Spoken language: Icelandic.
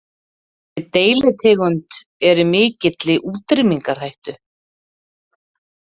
Þessi deilitegund er í mikilli útrýmingarhættu.